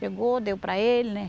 Pegou, deu para ele, né.